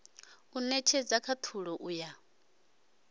u netshedza khathulo u ya